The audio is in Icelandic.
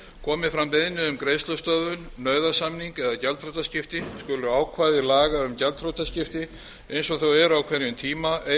komi fram beiðni um greiðslustöðvun nauðasamninga eða gjaldþrotaskipti skulu ákvæði laga um gjaldþrotaskipti eins og þau eru á hverjum tíma eiga við um